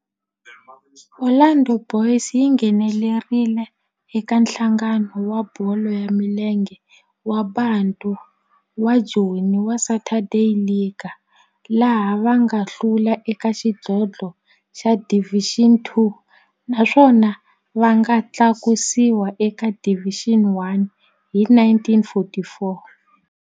Orlando Boys yi nghenelerile eka Nhlangano wa Bolo ya Milenge wa Bantu wa Joni wa Saturday League, laha va nga hlula eka xidlodlo xa Division Two naswona va nga tlakusiwa eka Division One hi 1944.